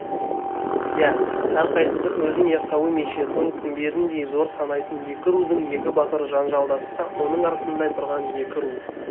иә әрқайсысы өзін яссауи мешітінің күмбезіндей зор санайтын екі рудың екі батыры жанжалдасса оның артында тұрған екі ру